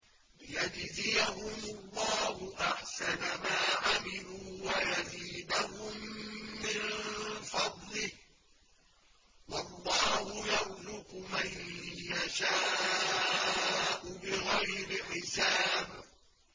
لِيَجْزِيَهُمُ اللَّهُ أَحْسَنَ مَا عَمِلُوا وَيَزِيدَهُم مِّن فَضْلِهِ ۗ وَاللَّهُ يَرْزُقُ مَن يَشَاءُ بِغَيْرِ حِسَابٍ